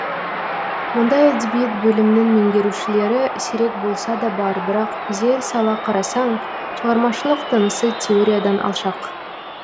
мұндай әдебиет бөлімінің меңгерушілері сирек болса да бар бірақ зер сала қарасаң шығармашылық тынысы теориядан алшақ